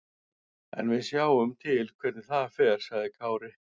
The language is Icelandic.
En við sjáum til hvernig það fer, sagði Kári.